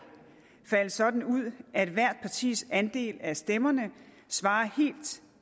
falde sådan ud at hvert partis andel af stemmerne